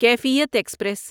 کیفیت ایکسپریس